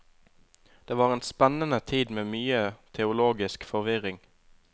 Det var en spennende tid med mye teologisk forvirring.